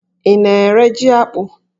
Ị na-ere jí akpụ?